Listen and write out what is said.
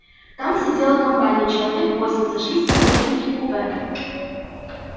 там сидела компания человек восемь сошлись из нескольких купе